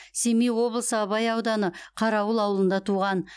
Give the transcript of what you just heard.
семей облысы абай ауданы қарауыл ауылында туған